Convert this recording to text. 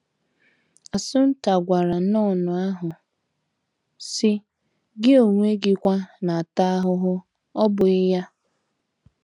Assunta gwara nọn ahụ, sị: “ Gị onwe gi kwa na - ata ahụhụ, ọ́ bụghị ya?